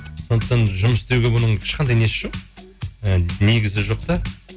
сондықтан жұмыс істеуге бұның ешқандай несі жоқ і негізі жоқ та